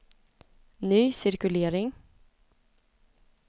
ny cirkulering